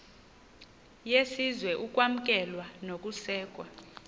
yesizwe ukwamkelwa nokusekwa